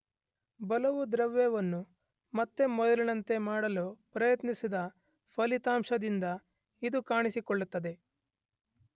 ಬಲವು ದ್ರವ್ಯವನ್ನು ಮತ್ತೆ ಮೊದಲಿನಂತೆ ಮಾಡಲು ಪ್ರಯತ್ನಿಸಿದ ಫಲಿತಾಂಶದಿಂದ ಇದು ಕಾಣಿಸಿಕೊಳ್ಳುತ್ತದೆ